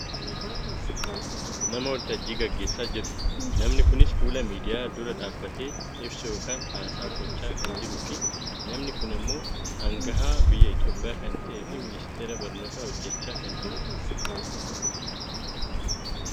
nama waltajjii gaggeessaa jiru, namni kunis fuula miidiyaa dura dhaabbatee ibsa yookkaan haasaa gochaa kan jiruufi namni kun ammoo angahaa biyya Itooiyaa kan ta'eefi ministeera barnootarra hojjachaa kan jiru dha.